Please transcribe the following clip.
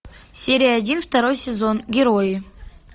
серия один второй сезон герои